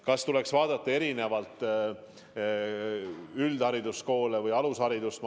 Kas tuleks vaadata erinevalt üldhariduskoole ja alusharidust?